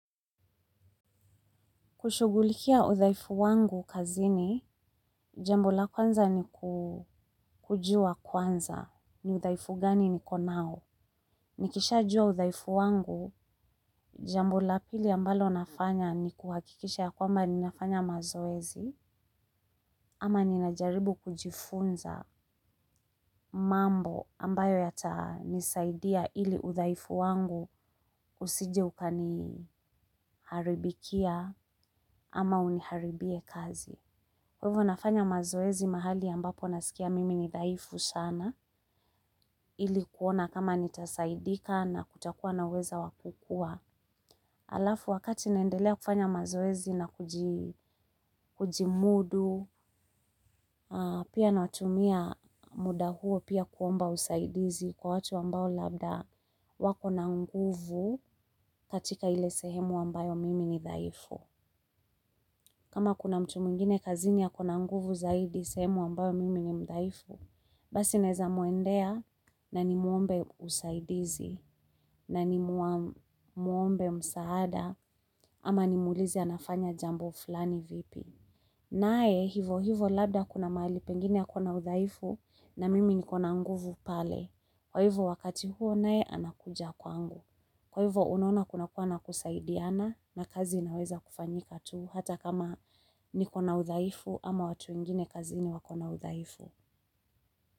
Kushugulikia udhaifu wangu kazi ni, jambo la kwanza ni kujua kwanza, ni udhaifu gani niko nao. Nikishajua udhaifu wangu, jambo la pili ambalo nafanya ni kuhakikisha ya kwamba ninafanya mazoezi, ama ninajaribu kujifunza mambo ambayo yatanisaidia ili udhaifu wangu usije ukani haribikia ama uniharibie kazi. Kwa hivyo nafanya mazoezi mahali ambapo nasikia mimi ni dhaifu shana, ili kuona kama nitasaidika na kutakuwa na uweza wa kukua. Alafu wakati naendelea kufanya mazoezi na kujimudu, pia na watumia muda huo pia kuomba usaidizi kwa watu ambao labda wako na nguvu katika ile sehemu ambayo mimi ni dhaifu. Kama kuna mtu mwingine kazini ako na nguvu zaidi sehemu ambayo mimi ni mdhaifu, basi naeza muendea na ni muombe usaidizi na ni muombe msaada ama ni muulize anafanya jambo flani vipi. Naye hivo hivo labda kuna mahali pengine ya kuna udhaifu na mimi niko na nguvu pale. Kwa hivo wakati huo naye anakuja kwangu. Kwa hivo unaona kuna kuwa na kusaidiana na kazi inaweza kufanyika tu hata kama niko na udhaifu ama watu wengine kazi ni wako na udhaifu.